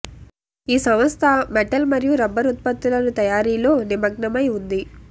ఈ సంస్థ మెటల్ మరియు రబ్బరు ఉత్పత్తులను తయారీలో నిమగ్నమై ఉంది